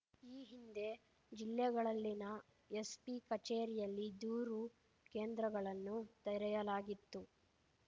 ಈ ಹಿಂದೆ ಜಿಲ್ಲೆಗಳಲ್ಲಿನ ಎಸ್‌ಪಿ ಕಚೇರಿಯಲ್ಲಿ ದೂರು ಕೇಂದ್ರಗಳನ್ನು ತೆರೆಯಲಾಗಿತ್ತು